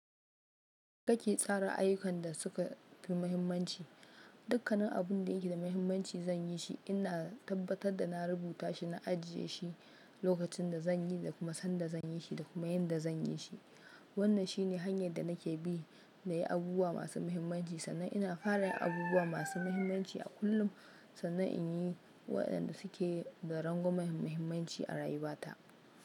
Kake tsara ayyukan da suka fi muhimmanci? Dukkan nan abin da yake da muhimmanci zan yi shi, ina tabbatar da na rubuta shi, na ajiye shi lokacin da zan yi, da kuma san da zan yi shi da kuma yan da zan yi shi. Wannan shi ne hanyar da nake bi na yi abubuwa masu muhimmanci sannan ina fara yin abubuwa masu muhimmanci a kullum sannan in yi wayanda suke da ranguman muhimmanci a rayuwata.